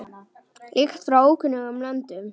Lykt frá ókunnum löndum.